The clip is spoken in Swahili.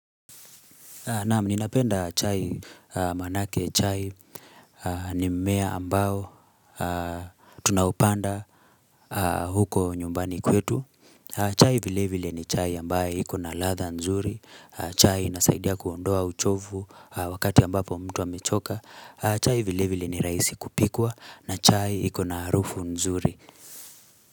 Naam ninapenda chai manake chai ni mmea ambao tunao upanda huko nyumbani kwetu chai vile vile ni chai ambaye hiko na ladha nzuri chai inasaidia kuondoa uchovu wakati ambapo mtu amechoka chai vile vile ni rahisi kupikwa na chai iko na harufu nzuri.